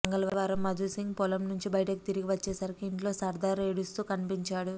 మంగళవారం మధుసింగ్ పొలం నుంచి ఇంటికి తిరిగి వచ్చేసరికి ఇంట్లో సర్దార్ ఏడుస్తూ కనిపించాడు